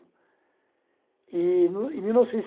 E, em mil novecentos e